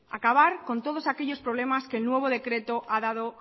acabar con todos aquellos problemas que el nuevo decreto ha dado